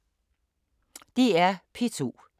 DR P2